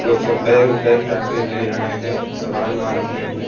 लोग सब bag bag टांग के ले जा रहे हैं समान वमान अपने अपने--